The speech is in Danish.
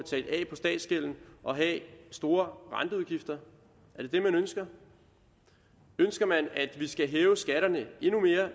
statsgælden og have store renteudgifter er det det man ønsker ønsker man at vi skal hæve skatterne endnu mere